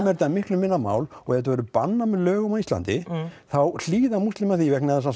þetta miklu minna mál og ef þetta væri bannað með lögum á Íslandi þá hlýða múslimar því vegna þess að